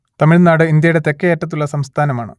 തമിഴ്നാട് ഇന്ത്യയുടെ തെക്കേയറ്റത്തുള്ള സംസ്ഥാനമാണ്